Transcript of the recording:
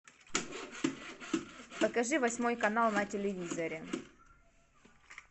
покажи восьмой канал на телевизоре